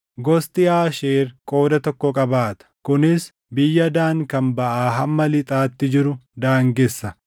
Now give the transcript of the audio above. Gosti Aasheer qooda tokko qabaata; kunis biyya Daan kan baʼaa hamma lixaatti jiru daangessa.